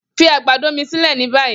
Fi agbado mi silẹ ni bayi!